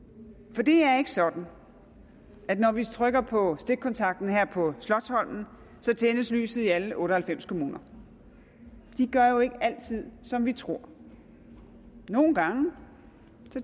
for det er ikke sådan at når vi trykker på stikkontakten her på slotsholmen tændes lyset i alle otte og halvfems kommuner de gør jo ikke altid som vi tror nogle gange